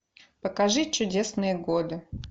покажи чудесные годы